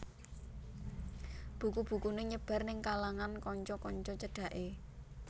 Buku bukuné nyebar ning kalangan kanca kanca cedhaké